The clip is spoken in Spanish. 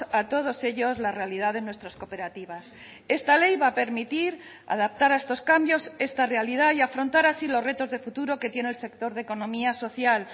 a todos ellos la realidad de nuestras cooperativas esta ley va a permitir adaptar a estos cambios esta realidad y afrontar así los retos de futuro que tiene el sector de economía social